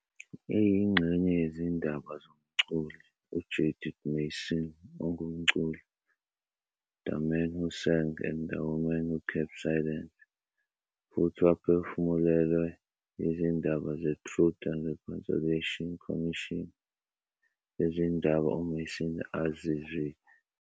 Iyingxenye yezindaba zomculi uJudith Mason ongumculi, "The Man Who Sang and the Women Who Kept Silent" futhi waphefumulelwa yizindaba ze Truth and Reconciliation Commission zezindaba uMason azizwile.